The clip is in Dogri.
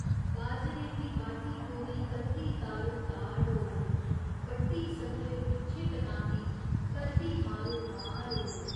बाजरे दी बाढी गोरी करदी ताड़ो ताड़ ओ बड्ढी सथरे पिच्छें टकांदी, करदी मारो मार ओ।